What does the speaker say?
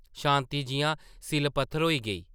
शांति जिʼयां सिʼल-पत्थर होई गेई ।